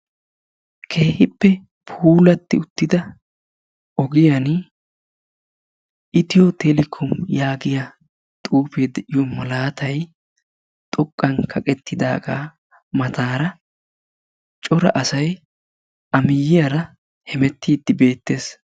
Keehippe puulatti uttida ogiyan "ethio telecom" yaagiya xuufee de'iyo malaatay xoqqan kaqettidaagaa mataara cora asay a miyyiyara hemettiiddi beettes.